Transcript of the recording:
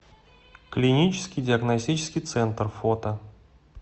клинический диагностический центр фото